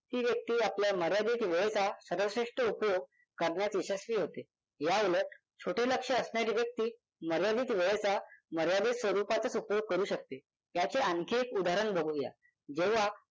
ती व्यक्ती आपल्या मर्यादित वेळचा सर्वश्रेष्ठ उपयोग करण्यात यशस्वी होते. याउलट छोटे लक्ष्य असणारी व्यक्ती मर्यादित वेळचा मर्यादित स्वरूपातच उपयोग करू शकते. याचे आणखी एक उदाहरण बघूया. जेव्हा